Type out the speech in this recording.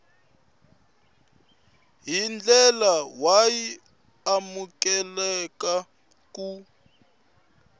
hi ndlela y amukeleka ku